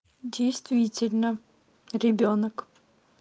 действительно ребёнок